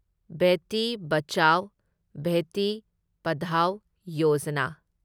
Beti Bachao, Beti Padhao Yojana